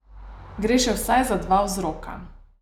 Gre še vsaj za dva vzroka.